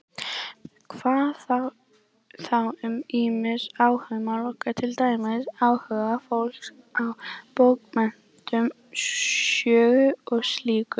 Hvað þá um ýmis áhugamál okkar, til dæmis áhuga fólks á bókmenntum, sögu og slíku?